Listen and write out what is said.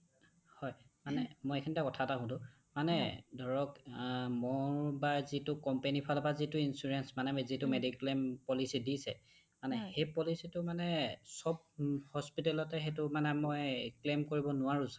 হয় মানে এইখিনিতে এটা কথা সোধো মানে ধৰক অ মোৰ বা যিটো companyৰ ফালৰ পৰা যিটো insurance মানে যিটো mediclaim policy দিছে মানে সেই policy টো মানে সব hospitalত য়ে সেইটো মানে মই claim কৰিব নোৱাৰো ছাগে